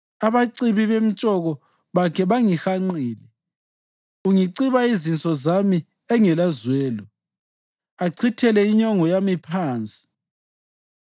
abacibi bemtshoko bakhe bangihanqile. Ungiciba izinso zami engelazwelo achithele inyongo yami phansi.